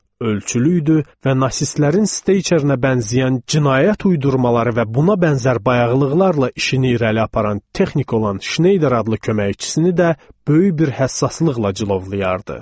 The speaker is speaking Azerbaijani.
Ölçülü idi və nasistlərin steyçerinə bənzəyən cinayət uydurmaları və buna bənzər bayağılıqlarla işini irəli aparan texnik olan Şneyder adlı köməkçisini də böyük bir həssaslıqla cilovlayırdı.